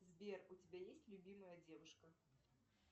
сбер у тебя есть любимая девушка